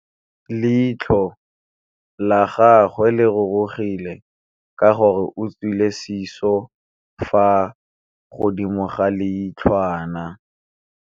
Leitlhô la gagwe le rurugile ka gore o tswile sisô fa godimo ga leitlhwana.